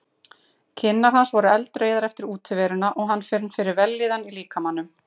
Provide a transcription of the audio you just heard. Kinnar hans voru eldrauðar eftir útiveruna og hann fann fyrir vellíðan í líkamanum.